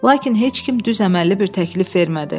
Lakin heç kim düz əməlli bir təklif vermədi.